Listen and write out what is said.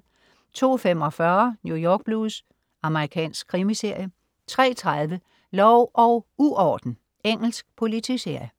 02.45 New York Blues. Amerikansk krimiserie 03.30 Lov og uorden. Engelsk politiserie